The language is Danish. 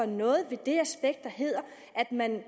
noget ved det aspekt der hedder at man